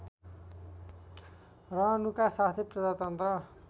रहनुका साथै प्रजातन्त्र